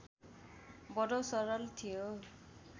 बडो सरल थियो